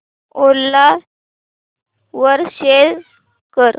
ओला वर सेल कर